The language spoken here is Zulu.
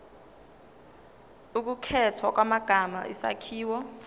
ukukhethwa kwamagama isakhiwo